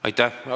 Aitäh!